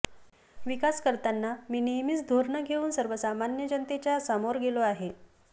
विकास करताना मी नेहमीच धोरणं घेऊन सर्वसामान्य जनतेच्या समोर गेलो आहे